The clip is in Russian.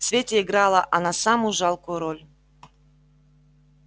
в свете играла она самую жалкую роль